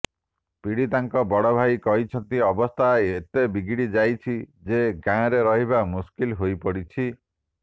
ପୀଡିତାଙ୍କ ବଡ ଭାଇ କହିଛନ୍ତି ଅବସ୍ଥା ଏତେ ବିଗିଡି ଯାଇଛି ଯେ ଗାଁରେ ରହିବା ମୁସ୍କିଲ ହୋଇ ପଡିଛି